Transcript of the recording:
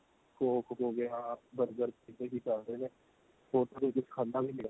coke ਹੋ ਗਿਆ burger ਪਿਜ਼ੇ ਵੀ ਚੱਲਦੇ ਨੇ ਹੋਰ ਕੋਈ ਵੀ ਖਾਂਦਾ ਵੀ ਨੀਂ